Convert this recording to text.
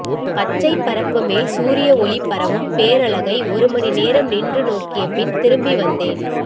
பச்சைப்பரப்புமேல் சூரிய ஒளி பரவும் பேரழகை ஒருமணிநேரம் நின்று நோக்கியபின் திரும்பிவந்தேன்